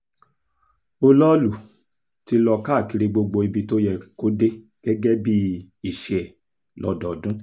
olọ́ọ̀lù ti lọ káàkiri gbogbo ibi tó yẹ kó dé gẹ́gẹ́ bíi iṣẹ́ ẹ̀ lọ́dọọdún